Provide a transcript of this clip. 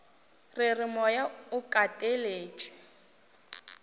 re re moya o kateletšwe